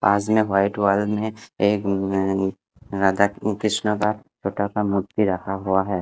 पास में white hall में एक राधा कृष्ण का छोटा सा मूर्ति रखा हुआ है।